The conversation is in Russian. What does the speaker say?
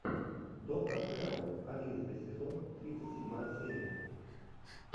доктор хэрол одиннадцатый сезон тридцать седьмая серия